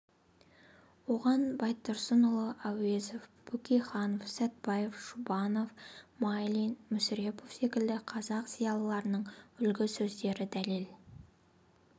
оған байтұрсынұлы әуезов бөкейханов сәтбаев жұбанов майлин мүсірепов секілді қазақ зиялыларының үлгі сөздері дәлел